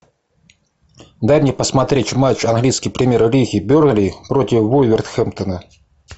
дай мне посмотреть матч английской премьер лиги бернли против вулверхэмптона